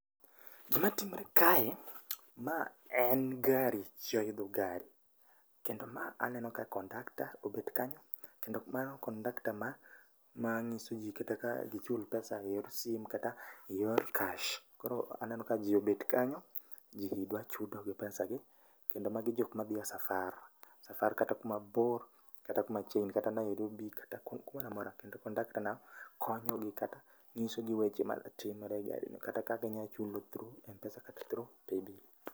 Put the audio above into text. Gi matimre kae, mae en gari, ji oidho gari kendo ma aneno ka kondakta obet kanyo. Kendo mano kondakta mang'iso ji kata ka gichul pesa e yor simu kata e yor cash. koro aneno ka ji obet kanyo, ji dwa chudo gi pesa gi. kendo magi jok madhie e safar. Safar kata kumabor kata kumachiegni kata Nairobi kata kumoramora, kendo kondakta no konyogi kata nyisoi weche matimre e gari no, kata ka ginyalo chudo through kata through paybill.